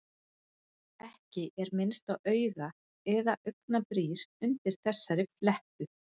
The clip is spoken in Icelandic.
Ekki er minnst á auga- eða augnabrýr undir þessari flettu.